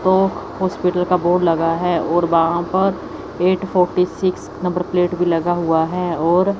तो हॉस्पिटल का बोर्ड लगा है और वहां पर eight forty six number plate भी लगा हुआ है और--